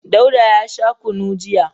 Dauda ya sha kunu jiya.